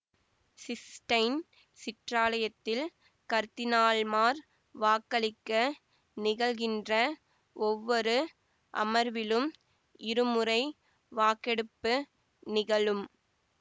cysteine சிற்றாலயத்தில் கர்தினால்மார் வாக்களிக்க நிகழ்கின்ற ஒவ்வொரு அமர்விலும் இருமுறை வாக்கெடுப்பு நிகழும்